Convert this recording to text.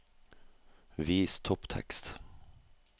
Vis topptekst